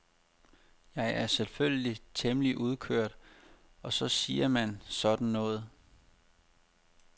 Jeg er selvfølgelig temmelig udkørt og så siger man sådan noget.